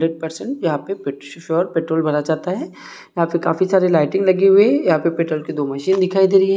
Hundred percent यहाँ पे पेट श्य श्योर पेट्रोल भरा जाता है यहाँ पे काफी सारी लाइटिंग लगी हुई है यहाँ पे पेट्रोल की दो मशीन दिखाई दे रही है।